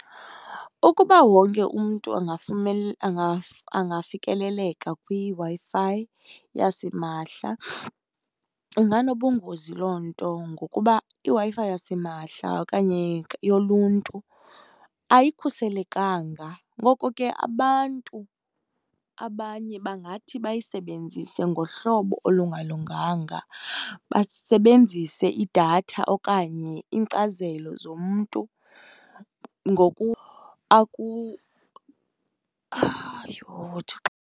Ukuba wonke umntu angafikeleleka kwiWi-Fi yasimahla inganobungozi loo nto ngokuba iWi-Fi yasimahla okanye yoluntu ayikhuselekanga. Ngoko ke abantu abanye bangathi bayisebenzise ngohlobo olungalunganga, basebenzise idatha okanye iinkcazelo zomntu ngoku Yho, Thixo!